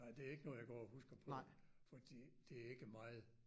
Nej det ikke noget jeg går og husker på fordi det ikke meget